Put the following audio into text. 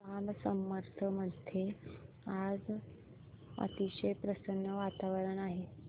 जांब समर्थ मध्ये आज अतिशय प्रसन्न वातावरण आहे